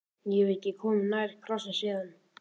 Ég hef ekki komið nærri krossi síðan.